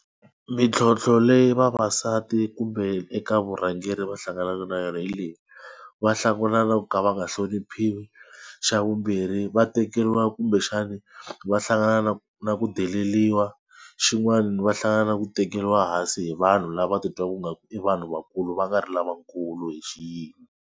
Mintlhontlho leyi vavasati kumbe eka vurhangeri va hlanganaka na yona hi leyi va na ku ka va nga hloniphiwi. Xa vumbirhi va tekeriwa kumbexani va hlangana na na ku deleriwa. Xin'wani va hlangana na ku tekeriwa hansi hi vanhu lava titwaku nga ku i vanhu vakulu va nga ri lavakulu hi xiyimo.